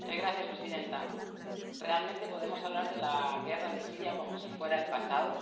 Señora presidenta, ¿realmente podemos hablar de la guerra de Siria como si fuera el pasado?